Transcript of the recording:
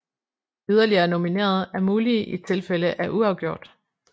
Yderligere nominerede er mulige i tilfælde af uafgjort